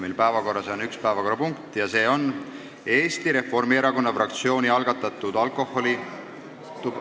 Meil on päevakorras üks päevakorrapunkt ja see on Eesti Reformierakonna fraktsiooni algatatud alkoholi- ...